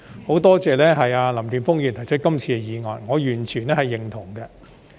很多謝林健鋒議員提出這項議案，我完全認同。